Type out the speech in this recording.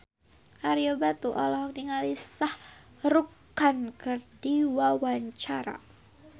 Ario Batu olohok ningali Shah Rukh Khan keur diwawancara